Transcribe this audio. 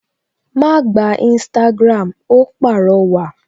Ma gba Instagram! Ó pàrọwà